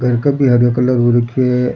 घर का भी हरो कलर हो रखे है।